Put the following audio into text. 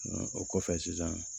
o kɔfɛ sisan